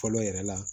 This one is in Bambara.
Fɔlɔ yɛrɛ la